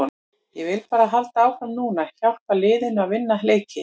Ég vil bara halda áfram núna og hjálpa liðinu að vinna leiki.